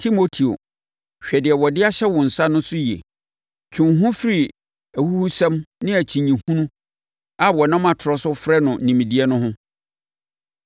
Timoteo, hwɛ deɛ wɔde ahyɛ wo nsa no so yie. Twe wo ho firi ahuhusɛm ne akyinnyehunu a wɔnam atorɔ so frɛ no “Nimdeɛ” no ho.